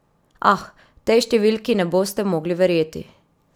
Ah, tej številki ne boste mogli verjeti!